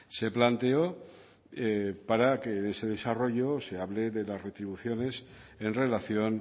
se planteó para que ese desarrollo se hable de las retribuciones en relación